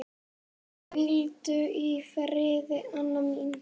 Hvíldu í friði, Anna mín.